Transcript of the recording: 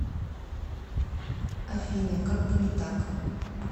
афина как бы не так